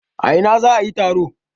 A ina za a yi taro?